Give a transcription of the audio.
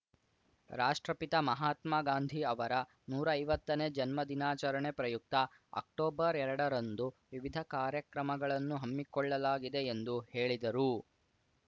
ರಾಷ್ಟ್ರಪಿತ ಮಹಾತ್ಮ ಗಾಂಧಿ ಅವರ ನೂರಾ ಐವತ್ತನೇ ಜನ್ಮದಿನಾಚರಣೆ ಪ್ರಯುಕ್ತ ಅಕ್ಟೊಬರ್ಎರಡರಂದು ವಿವಿಧ ಕಾರ್ಯಕ್ರಮಗಳನ್ನು ಹಮ್ಮಿಕೊಳ್ಳಲಾಗಿದೆ ಎಂದು ಹೇಳಿದರು